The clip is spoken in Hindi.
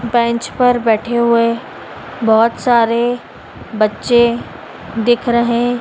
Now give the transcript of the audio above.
बेंच पर बैठे हुए बहोत सारे बच्चे दिख रहे--